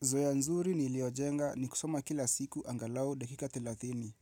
Zoea nzuri niiliojenga ni kusoma kila siku angalau dakika telathini.